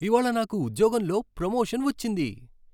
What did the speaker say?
ఇవాళ్ళ నాకు ఉద్యోగంలో ప్రమోషన్ వచ్చింది.